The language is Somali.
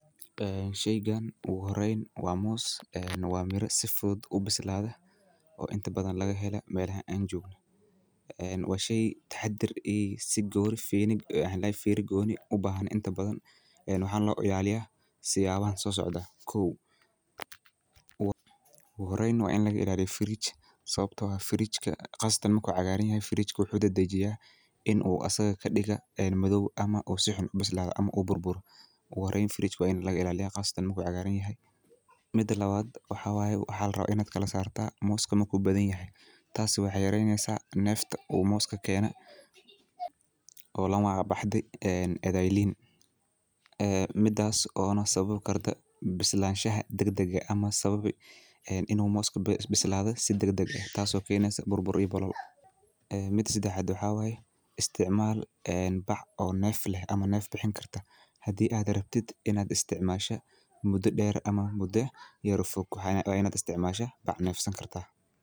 ee sheygan ogu horeyn waa moos, waa miira sifudud ubisladee, o inta bathan laga helo melaha aan jogno, ee waa shey taxadar iyo sigorif ee maxaa ladahaye fera goni ah ubahan, waxana loilaliyaa siyawahan sosocdan, kow, ogu horeyn waini lagailaliya fridge sawabto ah fridge ka qasatan marku cagaran yahay qasatan inu asaga kadiga madow ama sixun ubislado ama u burburo, ogu horeyn waini fridge ka laga ilaliya qasatan marku cagaran yahay, mida lawaad waxaa wayee waxaa larawaa ina kalasarto moska marku bathan yahay tas wexey yareyneysa nefta u moska kena o lamagac baxde erey liin, midaas ona sawabi karto bislashaha dagdaga ah, inu moska bisladho si dagdagg ah inu moska burbur iyo boohol, miida sadaxad waxaa waye isticmal bac o nef leh ama nef bixin kartaa hadii aad aragtid ina mudaa der ama muda yar fog, aya larawa ina isticmasho bac furan.